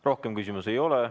Rohkem küsimusi ei ole.